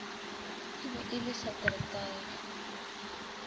e be e le saterdag